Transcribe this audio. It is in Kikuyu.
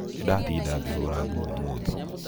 nĩĩ ndatinda ngĩhũũra nguo ũmũthĩ